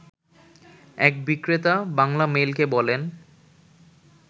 এক বিক্রেতা বাংলামেইলকে বলেন